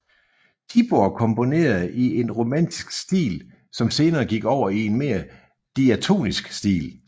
Tibor komponerede i en romantisk stil som senere gik over i en mere diatonisk stil